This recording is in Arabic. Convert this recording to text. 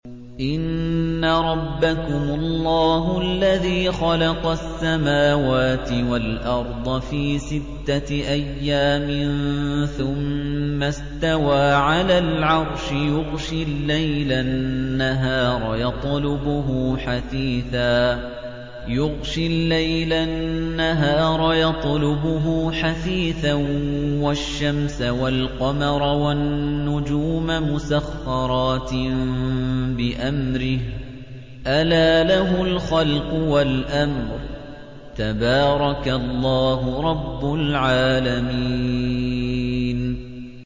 إِنَّ رَبَّكُمُ اللَّهُ الَّذِي خَلَقَ السَّمَاوَاتِ وَالْأَرْضَ فِي سِتَّةِ أَيَّامٍ ثُمَّ اسْتَوَىٰ عَلَى الْعَرْشِ يُغْشِي اللَّيْلَ النَّهَارَ يَطْلُبُهُ حَثِيثًا وَالشَّمْسَ وَالْقَمَرَ وَالنُّجُومَ مُسَخَّرَاتٍ بِأَمْرِهِ ۗ أَلَا لَهُ الْخَلْقُ وَالْأَمْرُ ۗ تَبَارَكَ اللَّهُ رَبُّ الْعَالَمِينَ